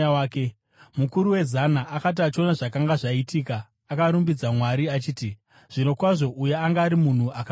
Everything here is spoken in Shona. Mukuru wezana, akati achiona zvakanga zvaitika, akarumbidza Mwari achiti, “Zvirokwazvo uyu anga ari munhu akarurama.”